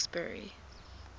clarksburry